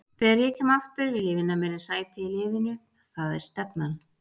Þegar ég kem aftur vil ég vinna mér inn sæti í liðnu, það er stefnan.